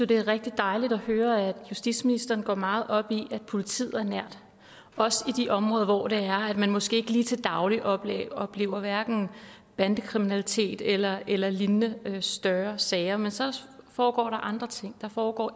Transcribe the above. det er rigtig dejligt at høre at justitsministeren går meget op i at politiet er nært også i de områder hvor man måske ikke lige til daglig oplever oplever hverken bandekriminalitet eller eller lignende større sager men så foregår der andre ting der foregår